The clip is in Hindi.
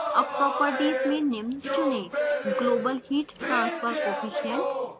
अब properties में निम्न चुनें: global heat transfer coefficient u